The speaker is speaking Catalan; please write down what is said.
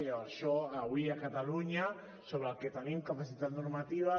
i això avui a catalunya sobre el que tenim capacitat normativa